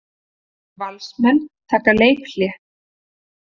Valsmenn taka leikhlé